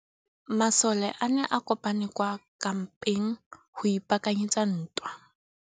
Masole a ne a kopane kwa kampeng go ipaakanyetsa ntwa.